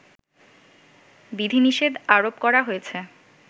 বিধিনিষেধ আরোপ করা হয়েছে